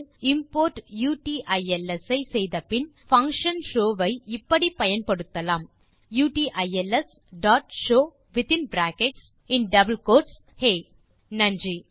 import utils ஐ செய்தபின் நாம் பங்ஷன் show ஐ இப்படி பயன்படுத்தலாம் utilsஷோவ் வித்தின் பிராக்கெட் டபிள் கோட்ஸ் ஹே இந்த டுடோரியல் பயனுள்ளதாக இருந்திருக்கும் என நம்புகிறோம் நன்றி